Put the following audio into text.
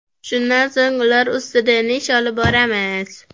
Shundan so‘ng ular ustida yana ish olib boramiz.